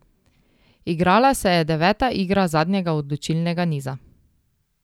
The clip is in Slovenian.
Igrala se je deveta igra zadnjega odločilnega niza.